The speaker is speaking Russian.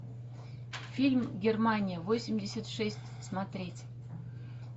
фильм германия восемьдесят шесть смотреть